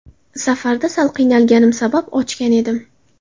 Safarda sal qiynalganim sabab ochgan edim.